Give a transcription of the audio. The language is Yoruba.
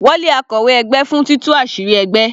Wọ́n lé akọ̀wé ẹgbẹ́ fún títú àṣírí ẹgbẹ́.